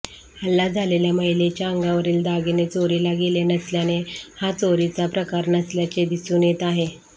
हल्ला झालेल्या महिलेच्या अंगावरील दागिने चोरीला गेले नसल्याने हा चोरीचा प्रकार नसल्याचे दिसून येत आहे